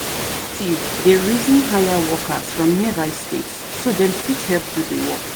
tive dey reason hire workers from nearby states so them fit help do the work